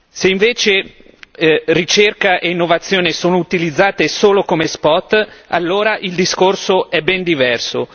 Se invece ricerca e innovazione sono utilizzate solo come spot, allora il discorso è ben diverso.